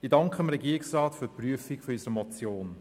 Ich danke dem Regierungsrat für die Prüfung unserer Motion.